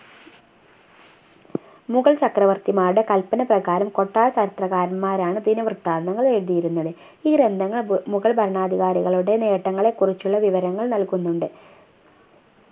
മുഗൾ ചക്രവർത്തിമാരുടെ കൽപ്പന പ്രകാരം കൊട്ടാര ചരിത്രകാരന്മാരാണ് ദിനവൃത്താന്തങ്ങൾ എഴുതിയിരുന്നത് ഈ ഗ്രന്ഥങ്ങൾ മു മുഗൾ ഭരണാധികാരികളുടെ നേട്ടങ്ങളെകുറിച്ചുള്ള വിവരങ്ങൾ നൽകുന്നുണ്ട്